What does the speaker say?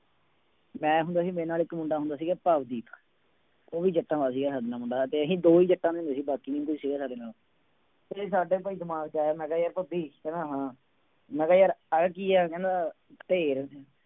ਮੈਂ ਹੁੰਦਾ ਸੀਗਾ ਮੇਰੇ ਨਾਲ ਇੱਕ ਮੁੰਡਾ ਹੁੰਦਾ ਸੀਗਾ ਭਵਦੀਪ ਉਹ ਵੀ ਜੱਟਾਂ ਦਾ ਸੀਗਾ ਸਾਡੇ ਨਾਲ ਮੁੰਡਾ ਤੇ ਅਸੀਂ ਦੋਵੇਂ ਹੀ ਜੱਟਾਂ ਹੁੰਦੇ ਸੀ ਬਾਕੀ ਨੀ ਕੋਈ ਸੀਗਾ ਸਾਡੇ ਨਾਲ ਤੇ ਸਾਡੇ ਭਾਈ ਦਿਮਾਗ ਚ ਆਇਆ ਮੈਂ ਕਿਹਾ ਯਾਰ ਭੱਬੀ ਕਹਿੰਦਾ ਮੈਂ ਕਿਹਾ ਯਾਰ ਆਹ ਕੀ ਹੈ ਕਹਿੰਦਾ ਢੇਰ।